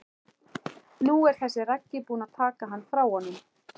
Nú er þessi Raggi búinn að taka hann frá honum.